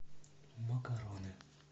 макароны